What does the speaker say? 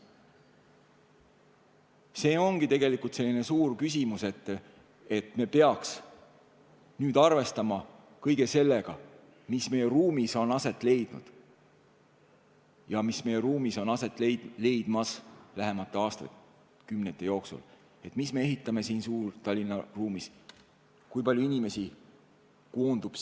See ongi tegelikult selline suur küsimus, et me peaks arvestama kõige sellega, mis meie ruumis on aset leidnud ja mis meie ruumis on aset leidmas lähemate aastakümnete jooksul, mida me ehitame siin Suur-Tallinna ruumis, kui palju inimesi siia koondub.